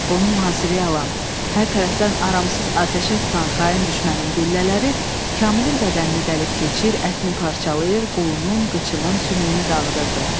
Onu mühasirəyə alan, hər tərəfdən aramsız atəşə tutan xain düşmənin güllələri Kamilin bədənini dəlib keçir, ətini parçalayır, qolunun, qıçının sümüyünü dağıdırdı.